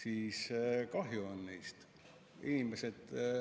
Aga kahju on neist.